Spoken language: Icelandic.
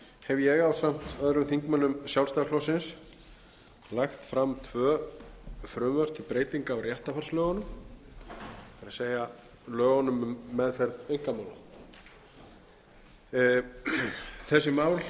hef ég ásamt öðrum þingmönnum sjálfstæðisflokksins lagt fram tvö frumvörp til breytinga á réttarfarslögunum það er lögunum um meðferð einkamála þessi mál